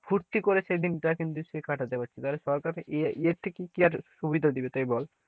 ফুর্তি করে সেই দিনটা কিন্তু স্কুলে কাটাতে পাচ্ছে তাহলে সরকার এর থেকে কি আর সুবিধা দেবে তাই বল,